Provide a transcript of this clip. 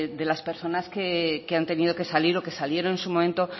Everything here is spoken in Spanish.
de las personas que han tenido que salir o que salieron en su momento